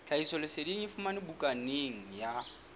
tlhahisoleseding e fumanwe bukaneng ya